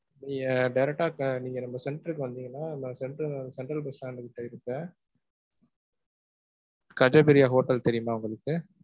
நீங்க direct ஆ நீங்க நம்ம centre க்கு வந்தீங்கனா, நம்ம central, central bus stand கிட்ட இருக்க ஹோட்டல் தெரியுமா உங்களுக்கு?